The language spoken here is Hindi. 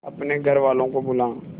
अपने घर वालों को बुला